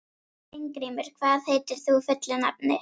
Steingrímur, hvað heitir þú fullu nafni?